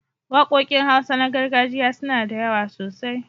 Waƙoƙin Hausa na gargajiya suna da yawa sosai.